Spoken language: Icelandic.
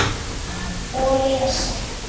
Og lesa.